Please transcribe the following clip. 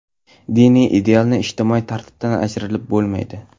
Diniy idealni ijtimoiy tartibdan ajratib bo‘lmaydi.